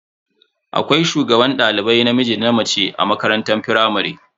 Akwai shugaban dalibai namiji da na mace a makarantar firamare.